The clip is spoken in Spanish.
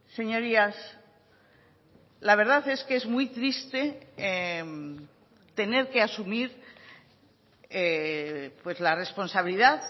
señorías la verdad es que es muy triste tener que asumir la responsabilidad